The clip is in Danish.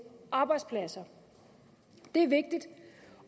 arbejdspladser det er vigtigt